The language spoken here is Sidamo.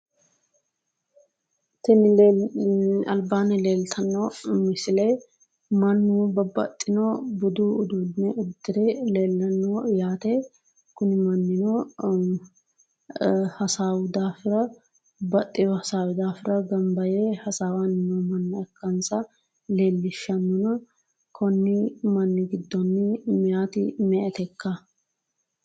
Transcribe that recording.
Tini alibaanni leelitanno misile mannu babbaxino budu uduune uddire leellanno yaate kuni Mannino uduunino hasaawu daafira baxxewo hasaawi daafira ganibba yee hasawanni noo manna ikkanisa leellishanona konni manni giddooni meyat me"etekka?